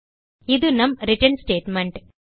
இது நம் return statement